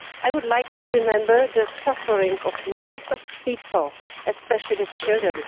I would like to remember the suffering of millions of people, especially children.